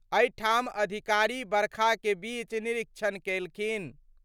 अईठाम अधिकारी बरखा के बीच निरीक्षण केलखिन।